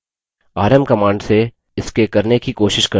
rm command से इसके करने की कोशिश करते हैं